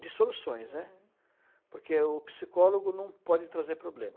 De soluções, né, uhum, porque o psicólogo não pode trazer problema.